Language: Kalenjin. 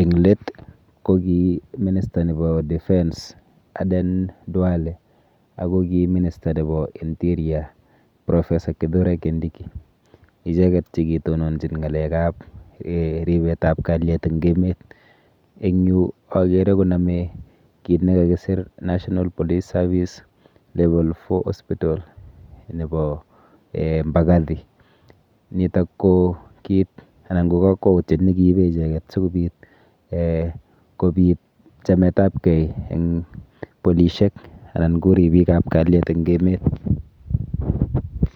Eng' let, kokiy minister nebo defense Aden Duale, ago kiy minister nebo interior Professor Kithure Kindiki. Icheket che kii tononchin ng'alekab ribet ab kalyet eng' emet. Eng' yu agere koname kiit ne kakisir National police Service Level four hospital nebo um Mbagathi. Nitok ko kiit, anan ko kakwoutiet ne kiibe icheket sikobiit um kobiit, chametabkey eng' polishiek anan ko ribiikab kalyet eng' emet